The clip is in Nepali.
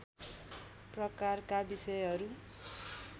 प्रकारका विषयहरू